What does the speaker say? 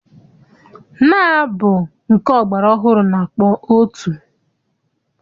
Nnaa bụ nke ọgbara ọhụrụ na-akpọ otu.